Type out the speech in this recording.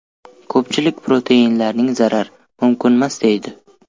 Ko‘pchilik proteinlarni zarar, mumkinmas deydi.